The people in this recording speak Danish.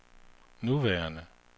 nuværende